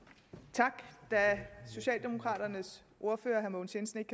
tak da socialdemokraternes ordfører herre mogens jensen ikke